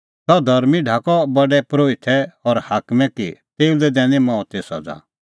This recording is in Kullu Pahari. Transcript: सह धर्मीं ढाकअ प्रधान परोहितै और हाकमै कि तेऊ लै दैणीं मौते सज़ा और सह मारअ तिन्नैं क्रूसा दी